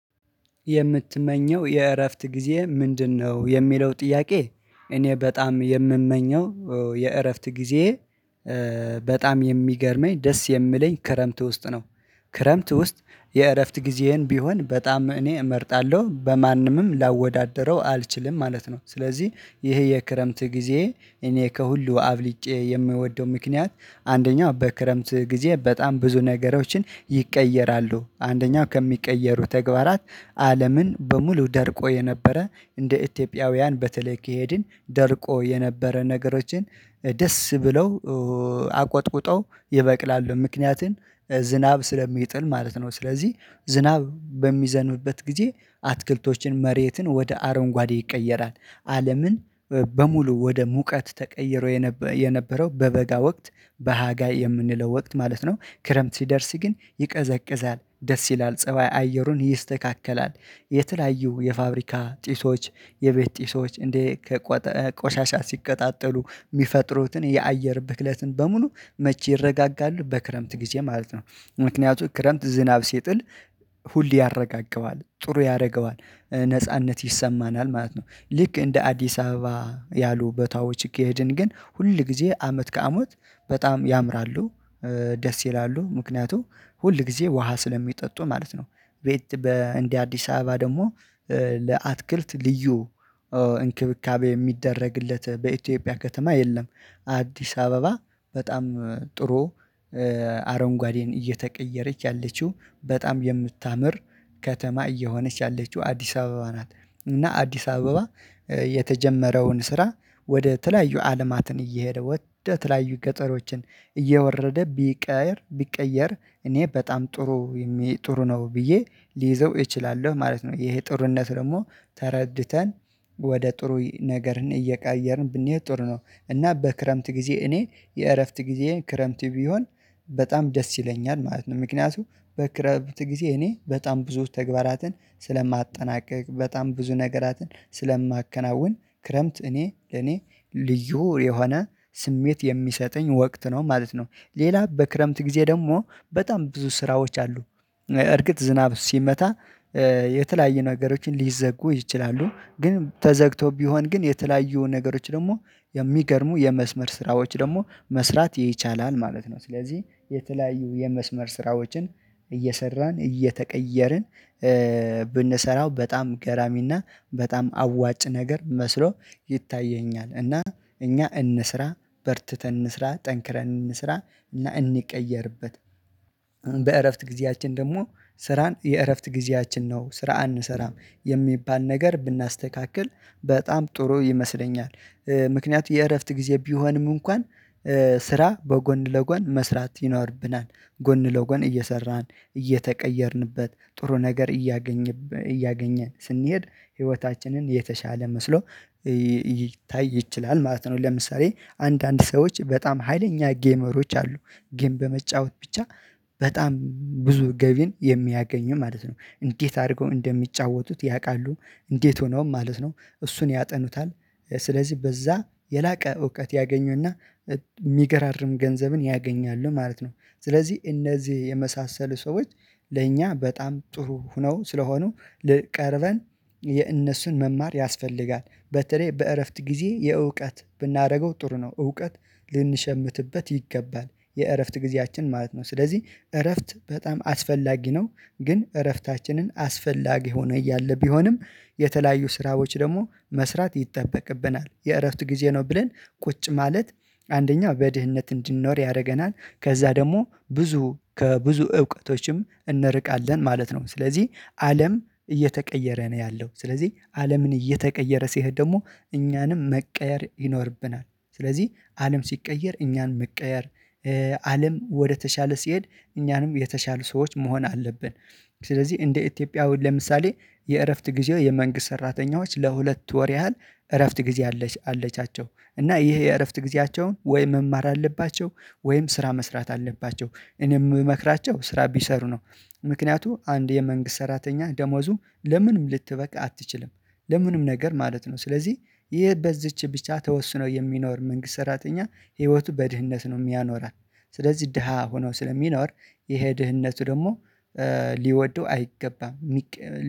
የምትመኘው የእረፍት ጊዜ ምንድነው? የሚለው ጥያቄ እኔ በጣም የምመኘው የእረፍት ጊዜ በጣም የሚገርመኝ ደስ የሚለኝ ክረምት ውስጥ ነው። ክረምት ውስጥ የእረፍት ጊዜህን ቢሆን በጣም እኔ እመርጣለሁ። በማንምም ላወዳድረው አልችልም ማለት ነው። ስለዚህ ይሄ የክረምት ጊዜ እኔ ከሁሉ አብልጬ የምወደው ምክንያት አንደኛው በክረምት ጊዜ በጣም ብዙ ነገሮችን ይቀየራሉ። አንደኛው ከሚቀየሩ ተግባራት አለምን በሙሉ ደርቆ የነበረ እንደ ኢትዮጵያውያን በተለይ ከሄድን ደርቆ የነበረ ነገሮችን ደስ ብለው አቆጥቁጠው ይበቅላሉ። ምክንያቱም ዝናብ ስለሚጥል ማለት ነው። ስለዚህ ዝናብ በሚዘንብበት ጊዜ አትክልቶችን መሬትን ወደ አረንጓዴ ይቀየራል። አለምን በሙሉ ወደ ሙቀት ተቀይሮ የነበረው በበጋ ወቅት በሀጋ የምንለው ወቅት ማለት ነው ክረምት ሲደርስ ግን ይቀዘቅዛል፤ ደስ ይላል፤ ፀባይ አየሩም ይስተካከላል። የተለያዩ የፋብሪካ ጢሶች የቤት ጢሶች እንደ ከቆሻሻ ሲቀጣጠሉ የሚፈጥሩትን የአየር ብክለትን በሙሉ መቼ ይረጋጋሉ? በክረምት ጊዜ ማለት ነው። ምክንያቱም ክረምት ዝናብ ሲጥል ሁሌ ያረጋጋዋል። ጥሩ ያደርገዋል ነጻነት ይሰማናል ማለት ነው። ልክ እንደ አዲስ አበባ ያሉ ቦታዎች ከሄድን ግን ሁል ጊዜ አመት ከአመት በጣም ያምራሉ። ደስ ይላሉ። ምክንያቱ ሁል ጊዜ ውሃ ስለሚጠጡ ማለት ነው። ቤት በእንዲህ አዲስ አበባ ደግሞ ለአትክልት ልዩ እንክብካቤ የሚደረግለት በኢትዮጵያ ከተማ የለም። አዲስ አበባ በጣም ጥሩ አረንጓዴን እየተቀየረች ያለችው በጣም የምታምር ከተማ እየሆነች ያለችው አዲስ አበባ ናት። እና አዲስ አበባ የተጀመረውን ስራ ወደ ተለያዩ አለማትን እየሄደ ወደ ተለያዩ ገጠሮችን እየወረደ ቢቀየር ቢቀየር እኔ በጣም ጥሩ ጥሩ ነው ብዬ ሊይዘው እችላለሁ ማለት ነው። ይሄ ጥሩነቱ ደግሞ ተረድተን ወደ ጥሩ ነገርን እየቀየርን ብንሄድ ጥሩ ነው። እና በክረምት ጊዜ እኔ የእረፍት ጊዜ ክረምት ቢሆን በጣም ደስ ይለኛል ማለት ነው። ምክንያቱም በክረምት ጊዜ እኔ በጣም ብዙ ተግባራትን ስለማጠናቀቅ በጣም ብዙ ነገራትን ስለማከናውን ክረምት እኔ ለኔ ልዩ የሆነ ስሜት የሚሰጠኝ ወቅት ነው ማለት ነው። ሌላ በክረምት ጊዜ ደግሞ በጣም ብዙ ስራዎች አሉ። እርግጥ ዝናብ ሲመጣ የተለያየ ነገሮችን ሊዘጉ ይችላሉ። ግን ተዘግቶ ቢሆን ግን የተለያዩ ነገሮች ደግሞ የሚገርሙ የመስመር ስራዎች ደግሞ መስራት ይቻላል ማለት ነው። ስለዚህ የተለያዩ የመስመር ስራዎችን እየሰራን እየተቀየርን ብንሰራው በጣም ገራሚና በጣም አዋጭ ነገር መስሎ ይታየኛል። እና እኛ እንስራ፤ በርትተን እንስራ፤ ጠንክረን እንስራ፤ እና እንቀየርበት። በእረፍት ጊዜያችን ደግሞ ስራን የእረፍት ጊዜያችን ነው ስራ አንሰራም የሚባል ነገር ብናስተካክል በጣም ጥሩ ይመስለኛል። ምክንያቱ የእረፍት ጊዜ ቢሆንም እንኳን ስራ በጎን ለጎን መስራት ይኖርብናል። ጎን ለጎን እየሰራን እየተቀየርንበት ጥሩ ነገር እያገኘ እያገኘን ስንሄድ ህይወታችንን የተሻለ መስሎ ሊታይ ይችላል ማለት ነው። ለምሳሌ አንዳንድ ሰዎች በጣም ሀይለኛ ጌመሮች አሉ። ጌም በመጫወት ብቻ በጣም ብዙ ገቢን የሚያገኙ ማለት ነው። እንዴት አድርገው እንደሚጫወቱት ያውቃሉ። እንዴት ሆነውም ማለት ነው፤ እሱን ያጠኑታል። ስለዚህ በዛ የላቀ እውቀት ያገኙና የሚገራርም ገንዘብን ያገኛሉ ማለት ነው። ስለዚህ እነዚህ የመሳሰሉ ሰዎች ለእኛ በጣም ጥሩ ሁነው ስለሆኑ ቀርበን የእነሱን መማር ያስፈልጋል። በተለይ በእረፍት ጊዜ የእውቀት ብናደርገው ጥሩ ነው። እውቀት ልንሸምትበት ይገባል የእረፍት ጊዜያችን ማለት ነው። ስለዚህ እረፍት በጣም አስፈላጊ ነው። ግን እረፍታችንን አስፈላጊ ሆኖ እያለ ቢሆንም የተለያዩ ስራዎች ደግሞ መስራት ይጠበቅብናል የእረፍት ጊዜ ነው ብለን ቁጭ ማለት አንደኛው በድህነት እንድንኖር ያደርገናል። ከዛ ደግሞ ብዙ ከብዙ እውቀቶችም እንርቃለን ማለት ነው። ስለዚህ አለም እየተቀየረ ነው ያለው። ስለዚህ አለምን እየተቀየረ ሲሄድ ደግሞ እኛንም መቀየር ይኖርብናል። ስለዚህ አለም ሲቀየር እኛን መቀየር አለም ወደተሻለ ሲሄድ እኛንም የተሻሉ ሰዎች መሆን አለብን። ስለዚህ እንደ ኢትዮጵያ አሁን ለምሳሌ የእረፍት ጊዜው የመንግስት ሰራተኞች ለሁለት ወር ያህል እረፍት ጊዜ አለቻቸው። እና ይሄ የእረፍት ጊዜያቸውን ወይ መማር አለባቸው፤ ወይም ስራ መስራት አለባቸው። እኔም የምመክራቸው ስራ ቢሰሩ ነው። ምክንያቱም አንድ የመንግስት ሰራተኛ ደሞዙ ለምንም ልትበቃ አትችልም። ለምንም ነገር ማለት ነው። ስለዚህ ይህ በዚች ብቻ ተወስኖ የሚኖር መንግስት ሰራተኛ ህይወቱ በድህነት ነው የሚያኖራት። ስለዚህ ደሃ ሆኖ ስለሚኖር የሄድህነቱ ደግሞ ሊወደው አይገባም።